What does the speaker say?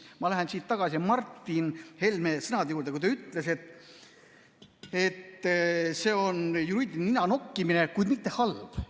Ma lähen siit tagasi Martin Helme sõnade juurde, kui ta ütles, et see on ninanokkimine, kuid mitte halb.